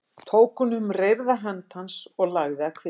Tók hún um reyrða hönd hans og lagði að kvið sér.